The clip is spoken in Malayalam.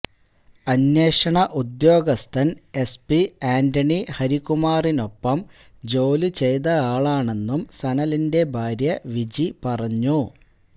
അന്വേഷണ ഉദ്യോഗസ്ഥൻ എസ്പി ആന്റണി ഹരികുമാറിനൊപ്പം ജോലി ചെയ്തയാളാണെന്നും സനലിന്റെ ഭാര്യ വിജി പറഞ്ഞു